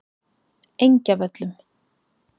Engjavöllum